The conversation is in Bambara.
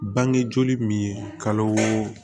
Bange joli min ye kalo